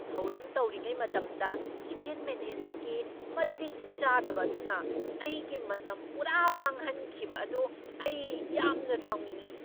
ꯊꯧꯔꯝ ꯇꯧꯔꯤꯉꯩ ꯃꯇꯝꯗ ꯏꯚꯦꯟꯠ ꯃꯦꯅꯦꯖꯔꯒꯤ ꯃꯇꯤꯛ ꯆꯥꯗꯕ ꯑꯗꯨꯅ ꯑꯩꯒꯤ ꯃꯇꯝ ꯄꯨꯔꯥ ꯃꯥꯡꯍꯟꯈꯤꯕ ꯑꯗꯨ ꯑꯩ ꯌꯥꯝꯅ ꯁꯥꯎꯅꯤꯡꯏ ꯫